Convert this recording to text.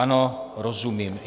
Ano, rozumím.